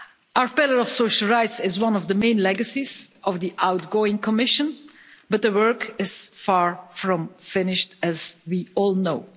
Our Pillar of Social Rights is one of the main legacies of the outgoing Commission, but the work is far from finished, as we all know.